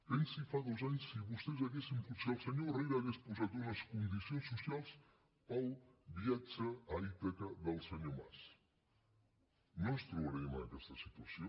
pensi fa dos anys si el senyor herrera hagués posat unes condicions socials per al viatge a ítaca del senyor mas no ens trobaríem en aquesta situació